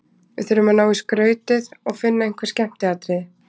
Við þurfum að ná í skrautið og finna einhver skemmtiatriði.